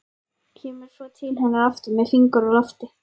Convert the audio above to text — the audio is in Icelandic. Kemur svo til hennar aftur með fingur á lofti.